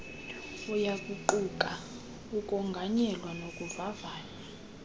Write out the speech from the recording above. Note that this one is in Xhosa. uyakuquka ukonganyelwa nokuvavanywa